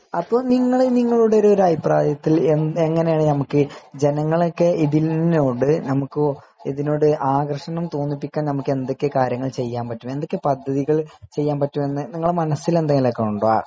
അപ്പൊ നിങ്ങൾ നിങ്ങളുടെ ഒരു അഭിപ്രായത്തിൽ എങ്ങനെയാണ് നമ്മക്ക് ജനങ്ങളെ ഒക്കെ ഇതിനോട് ആകർഷണം തോന്നിപ്പിക്കാൻ എന്തൊക്കെ കാര്യങ്ങൾ ചെയ്യാൻ കയ്യും എന്തൊക്കെ പദ്ധതികൾ ചെയ്യാൻ പറ്റുമെന്ന് മനസ്സിൽ എന്തെങ്കിലുമുണ്ടോ